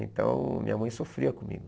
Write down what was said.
Então minha mãe sofria comigo.